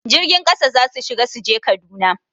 Jirgin ƙasa za su shiga su je Kaduna